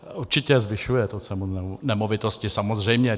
Určitě, zvyšuje to cenu nemovitosti, samozřejmě.